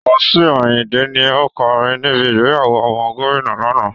Wasiu Ayinnde ni ó kọrin níbi ìgbéyàwó ọmọ gómìnà lánàá